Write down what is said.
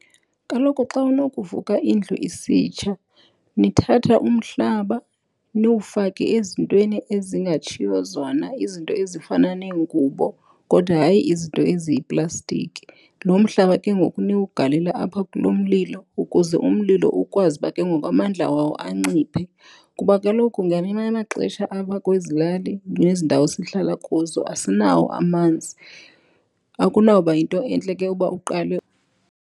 Kaloku xa unokuvuka indlu isitsha nithatha umhlaba niwufake ezintweni ezingatshiyo zona izinto ezifana neengubo kodwa hayi izinto eziyiplastiki. Lo mhlaba ke ngoku niwugalele apha kulo mlilo ukuze umlilo ukwazi uba ke ngoku amandla wawo anciphe. Kuba kaloku ngamanye amaxesha apha kwezi lali nezi ndawo sihlala kuzo asinawo amanzi. Akunawuba yinto entle ke uba uqale .